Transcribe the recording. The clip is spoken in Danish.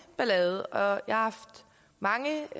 ballade og jeg har haft mange